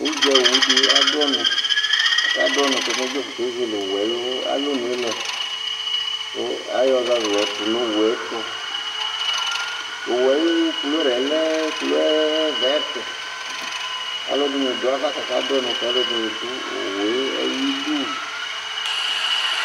udza owu di adu ɔnu ɔka do ɔnu k'ome dzofue k'ezele owu ayi alɔnu yɛ lɛ kò ayɔ ɔzazu yɔ tò n'owu yɛ to owu yɛ ayi kela yɛ lɛ kɔla vɛt k'alò ɛdini do ava k'aka do ɔnu k'alò ɛdini do owu yɛ ayi du